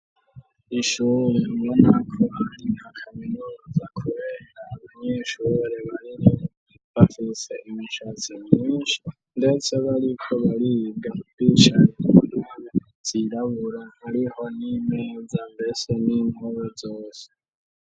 Ishure ubona ko ari nka kaminuza kubera abanyeshure babiri bafise imishatsi myinshi ndetse bariko bariga bicaye ku ntebe zirabura hariho n'imeza mbese n'inpome zose.